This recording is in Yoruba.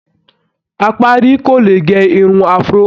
Apárí kò lè gẹ irun Afro